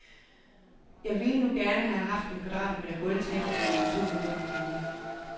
Jeg ville nu gerne have haft en kvadratmeter gulvtæppe for mine to hundrede kroner.